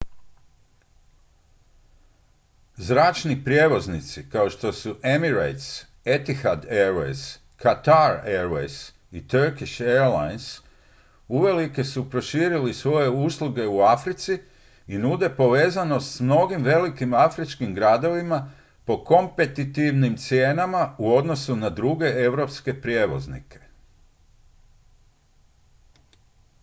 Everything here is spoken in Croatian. zračni prijevoznici kao što su emirates etihad airways qatar airways i turkish airlines uvelike su proširili svoje usluge u africi i nude povezanost s mnogim velikim afričkim gradovima po kompetitivnim cijenama u odnosu na druge europske prijevoznike